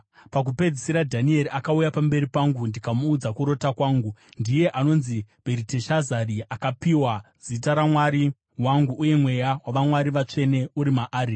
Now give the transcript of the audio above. Pakupedzisira, Dhanieri akauya pamberi pangu ndikamuudza kurota kwangu. (Ndiye anonzi Bheriteshazari, akapiwa zita ramwari wangu, uye mweya wavamwari vatsvene uri maari.)